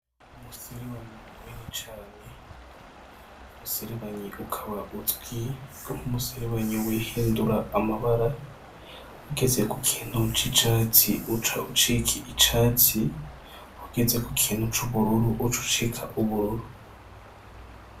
umuserebanyi munini cane. Umuserebanyi ukaba uzwi nk'umuserebanyi wihindura amabara ,ugeze kukintu c'icatsi uca ucika icatsi, ugeze kukintu c'ubururu ucucika ubururu.